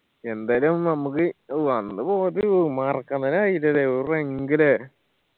എന്തായാലും നമ്മക്ക് ഓ അന്ന് പോയത് മറക്കാൻ തന്നെ കയില്ലാ ല്ലേ ല്ലേ